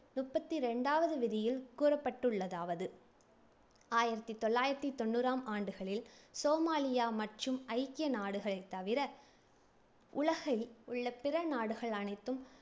முப்பத்தி ரெண்டாவது விதியில் கூறப்பட்டுள்ளதாவது, ஆயிரத்தி தொள்ளாயிரத்தி தொண்ணூறாம் ஆண்டுகளில் சோமாலியா மற்றும் ஐக்கிய நாடுகள் தவிர உலகில் உள்ள பிற நாடுகள் அனைத்தும்